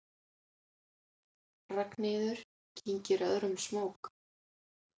Ragnheiður kyngir öðrum smók.